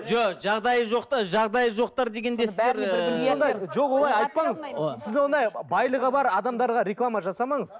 жоқ жағдайы жоқтар жағдайы жоқтар дегенде сіз ыыы жоқ олай айтпаңыз сіз ондай байлығы бар адамдарға реклама жасамаңыз